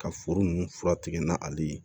Ka foro nunnu fura tigɛ na ale ye